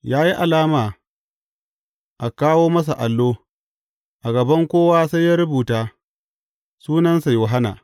Ya yi alama a kawo masa allo, a gaban kowa sai ya rubuta, Sunansa Yohanna.